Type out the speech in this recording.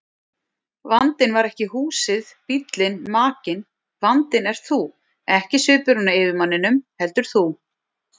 Vandinn var ekki húsið, bíllinn, makinn, vandinn ert þú, ekki svipurinn á yfirmanninum, heldur þú.